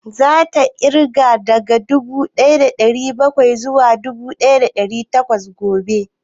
Za ta yi ƙirga daga dubu ɗaya da ɗari bakwai zuwa dubu ɗaya da ɗari takwas gobe?